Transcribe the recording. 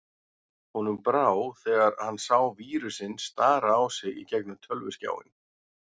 Honum brá þegar hann sá vírusinn stara á sig í gegnum tölvuskjáinn.